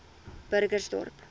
burgersdorp